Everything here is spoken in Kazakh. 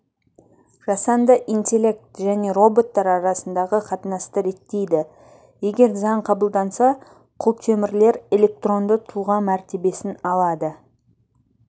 жасанды интеллект және роботтар арасындағы қатынасты реттейді егер заң қабылданса құлтемірлер электронды тұлға мәртебесін алады